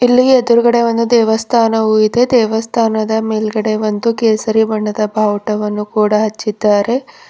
ಇಲ್ಲಿ ಎದ್ರುಗಡೇ ಒಂದು ದೇವಸ್ಥಾನವು ಇದೆ ದೇವಸ್ಥಾನದ ಮೇಲ್ಗಡೆ ಒಂದು ಕೇಸರಿ ಬಣ್ಣದ ಬಾವುಟವನ್ನು ಕೂಡ ಹಚ್ಚಿದ್ದಾರೆ.